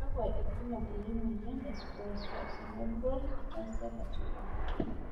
kakua irbulabol le moyian e Spinocerebellar ataxia 34?